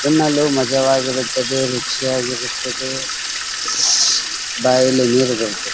ತಿನ್ನಲು ಮಜವಾಗಿರುತ್ತದೆ ರುಚಿಯಾಗಿ ಇರುತ್ತದೆ ಬಾಯಲ್ಲಿ ನೀರು ಬರುತದೆ .